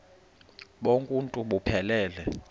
bonk uuntu buphelele